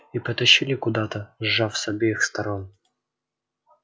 и потащили куда-то сжав с обеих сторон